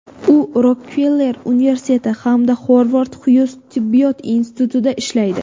U Rokfeller universiteti hamda Xovard Xyuz Tibbiyot institutida ishlaydi.